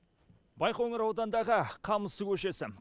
байқоңыр ауданындағы қамысты көшесі